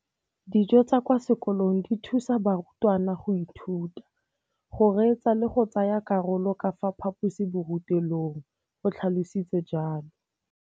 Dijo tsa kwa sekolong dithusa barutwana go ithuta, go reetsa le go tsaya karolo ka fa phaposiborutelong, o tlhalositse jalo.